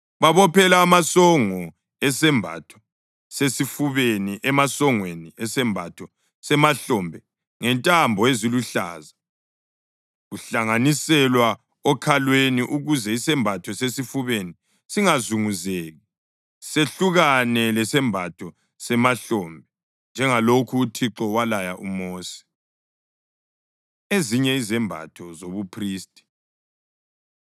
Babophela amasongo esembatho sesifubeni emasongweni esembatho semahlombe ngentambo eziluhlaza, kuhlanganiselwa okhalweni ukuze isembatho sesifubeni singazunguzeki sehlukane lesembatho semahlombe njengalokhu uThixo walaya uMosi. Ezinye Izembatho ZobuPhristi